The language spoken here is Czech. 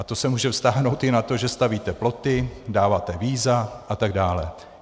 A to se může vztáhnout i na to, že stavíte ploty, dáváte víza atd.